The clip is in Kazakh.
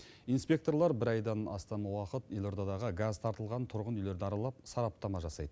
инспекторлар бір айдан астам уақыт елордадағы газ тартылған тұрғын үйлерді аралап сараптама жасайды